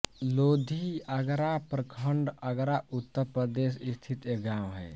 लोधी आगरा प्रखंड आगरा उत्तर प्रदेश स्थित एक गाँव है